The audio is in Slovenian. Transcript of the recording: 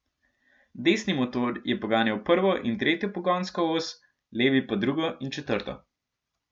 Desni motor je poganjal prvo in tretjo pogonsko os, levi pa drugo in četrto.